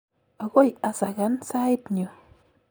agoi asakan sait nyu.